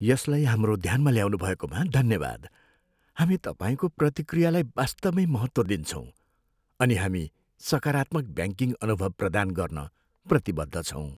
यसलाई हाम्रो ध्यानमा ल्याउनुभएकोमा धन्यवाद। हामी तपाईँको प्रतिक्रियालाई वास्तवमै महत्त्व दिन्छौँ, अनि हामी सकारात्मक ब्याङ्किङ अनुभव प्रदान गर्न प्रतिबद्ध छौँ।